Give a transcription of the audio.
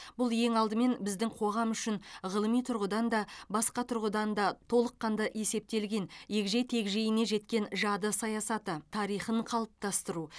бұл ең алдымен біздің қоғам үшін ғылыми тұрғыдан да басқа тұрғыдан да толыққанды есептелген егжей тегжейіне жеткен жады саясаты тарихын қалыптастыру